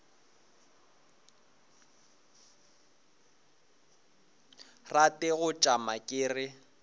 rate go tšama ke re